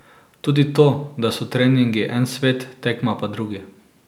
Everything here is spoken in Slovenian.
Tudi to, da so treningi en svet, tekma pa drugi.